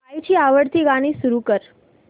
आईची आवडती गाणी सुरू कर